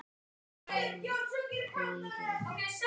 Og lagið?